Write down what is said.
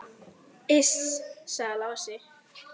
Iss, sagði Lási.